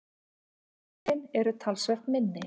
Kvendýrin eru talsvert minni.